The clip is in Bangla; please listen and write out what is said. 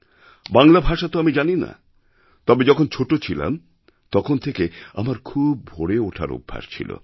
বাংলা ভাষা তো আমি জানি না তবে যখন ছোট ছিলাম তখন থেকে আমার খুব ভোরে ওঠার অভ্যাস ছিল